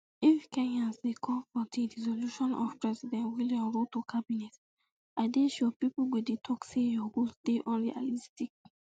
if kenyans dey call um for di dissolution of [president william] ruto cabinet i dey sure pipo go dey tok say your goals dey unrealistic